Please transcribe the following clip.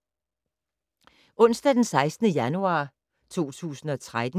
Onsdag d. 16. januar 2013